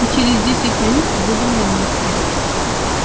и через десять минут будем на месте